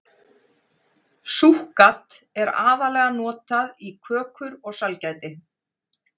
Súkkat er aðallega notað í kökur og sælgæti.